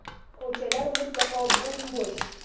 Ko‘chalar mutlaqo bo‘m-bo‘sh!